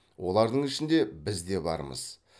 олардың ішінде біз де бармыз